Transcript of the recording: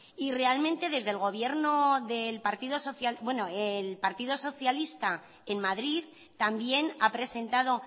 y realmente desde el partido socialista en madrid también ha presentado